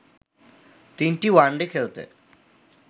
তিনটি ওয়ানডে খেলতে